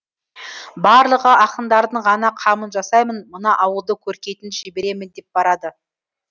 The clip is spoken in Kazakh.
барлығы ақындардың ғана қамын жасаймын мына ауылды көркейтін жіберемін деп барады